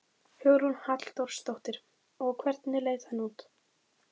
Hugrún Halldórsdóttir: Og hvernig leit hann út?